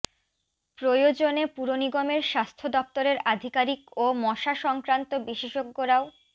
প্রয়োজনে পুরনিগমের স্বাস্থ্য দপ্তরের আধিকারিক ও মশা সংক্রান্ত বিশেষজ্ঞরাও